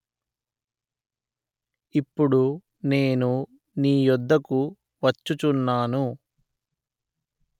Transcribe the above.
ఇప్పుడు నేను నీ యొద్దకు వచ్చుచున్నాను